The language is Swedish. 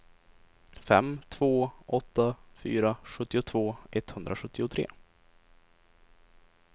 fem två åtta fyra sjuttiotvå etthundrasjuttiotre